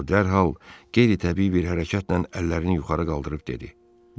O dərhal qeyri-təbii bir hərəkətlə əllərini yuxarı qaldırıb dedi: